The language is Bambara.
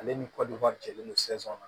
Ale ni kɔdiwari jɛlen don na